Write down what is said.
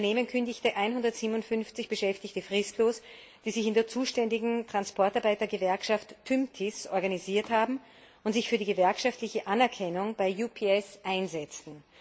Das Unternehmen kündigte 157 Beschäftigten fristlos, die sich in der zuständigen Transportarbeitergewerkschaft TÜMTIS organisiert hatten und sich für die gewerkschaftliche Anerkennung bei UPS einsetzen.